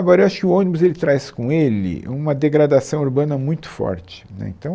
Agora, eu acho que o ônibus ele traz com ele uma degradação urbana muito forte, né então.